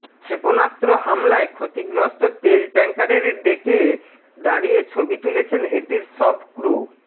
ক্ষেপণাস্ত্র হামলায় ক্ষতিগ্রস্ত তেল ট্যাংকারের ডেকে দাঁড়িয়ে ছবি তুলেছেন এটির সব ক্রু